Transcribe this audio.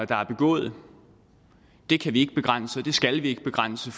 der er begået det kan vi ikke begrænse og det skal vi ikke begrænse